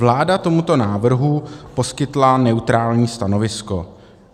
Vláda tomuto návrhu poskytla neutrální stanovisko.